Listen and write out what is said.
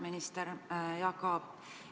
Minister Jaak Aab!